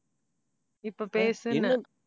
இப்ப பேசுன்னேன்